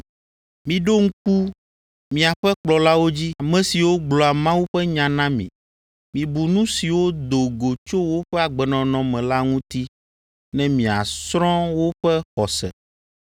Miɖo ŋku miaƒe kplɔlawo dzi, ame siwo gblɔa Mawu ƒe nya na mi. Mibu nu siwo do go tso woƒe agbenɔnɔ me la ŋuti ne miasrɔ̃ woƒe xɔse.